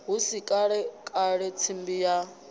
hu si kalekale tsimbi ya